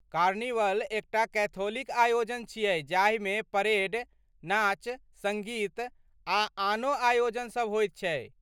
Carnival एकटा Catholic आयोजन छियै जाहिमे परेड, नाच, सङ्गीत आ आनो आयोजनसभ होयत छै।